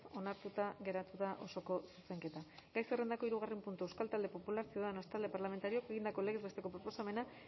onartuta geratu da osoko zuzenketa gai zerrendako hirugarren puntua euskal talde popularra ciudadanos talde parlamentarioak egindako legez besteko proposamena